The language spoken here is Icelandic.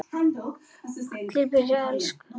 Talaði bjagaða ensku: